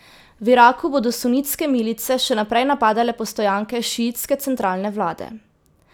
V Iraku bodo sunitske milice še naprej napadale postojanke šiitske centralne vlade.